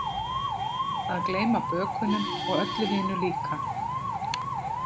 Að gleyma bökunum og öllu hinu líka.